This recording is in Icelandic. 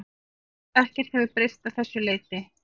Ekkert hefði breyst að þessu leyti